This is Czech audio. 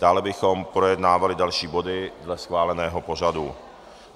Dále bychom projednávali další body dle schváleného pořadu.